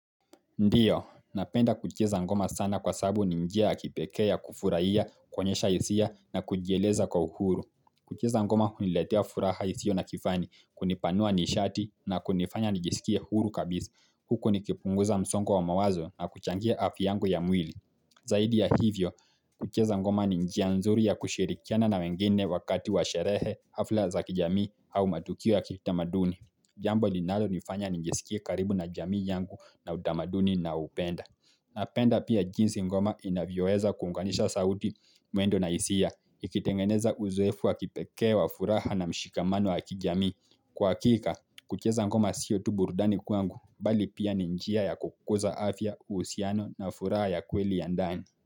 Ndiyo, napenda kucheza ngoma sana kwa sabu ninjia ya kipekea ya kufuraiya, kuonyesha hisia na kujieleza kwa uhuru. Kuchieza ngoma huiletea furaha isio na kifani, kunipanua nishati na kunifanya nijisikie huru kabizi. Huko nikipunguza msongo wa mawazo na kuchangie afya yangu ya mwili. Zaidi ya hivyo, kucheza ngoma ninjia nzuri ya kushirikiana na wengine wakati wa sherehe hafla za kijami au matukio ya kitamaduni. Jambo linalo nifanya ningesikie karibu na jamii yangu na udamaduni na upenda na penda pia jinsi ngoma inavyoeza kunganisha sauti mwendo na isia Ikitengeneza uzuefu wa kipekee wa furaha na mshikamano wa kijamii Kwa hakika, kucheza ngoma siyo tu burdani kuangu Bali pia ninjia ya kukuza afya, uhusiano na furaha ya kweli ya ndani.